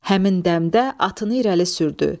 Həmin dəmdə atını irəli sürdü.